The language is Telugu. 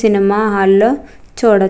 సినిమా హాల్ లో చుడొ --